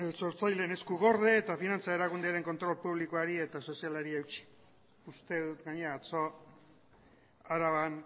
esku gorde eta finantza erakundearen kontrol publikoari eta sozialari eutsi uste dut gainera atzo araban